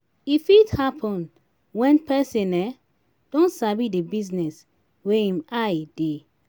e fit happen when person um don sabi di business wey im eye dey